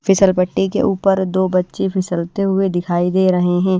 फिसल पट्टी के ऊपर दो बच्चें फिसलते हुए दिखाई दे रहे हैं।